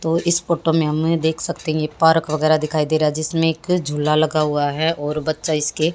तो इस फोटो में हमने देख सकते हैं ये पार्क वगैरा दिखाई दे रहा है जिसमें एक झूला लगा हुआ है और बच्चा इसके--